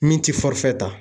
Min ti fɔrɛ ta.